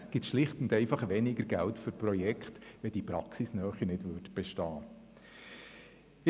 Es gibt schlicht und einfach weniger Geld für die einzelnen Projekte, wenn die Praxisnähe nicht vorhanden ist.